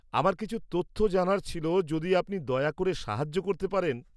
আমার কিছু তথ্য জানার ছিল যদি আপনি দয়া করে সাহায্য করতে পারেন।